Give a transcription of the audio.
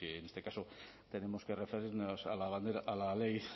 en este caso tenemos que referirnos a la ley